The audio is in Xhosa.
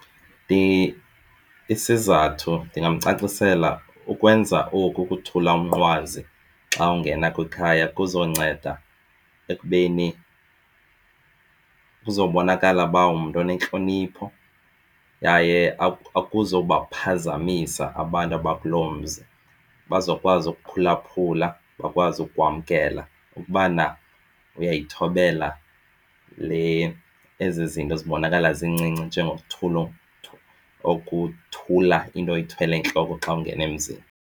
Isizathu ndingamcacisela ukwenza oku ukuthula umnqwazi xa ungena kwikhaya kuzonceda ekubeni kuzobonakala uba ungumntu onentlonipho yaye akuzubaphazamisa abantu abakuloo mzi. Bazokwazi ukuphulaphula bakwazi ukwamkela ukubana uyayithobela le ezi zinto zibonakala zincinci njengokokuthla ukothula into oyithwele entloko xa ungena emzini.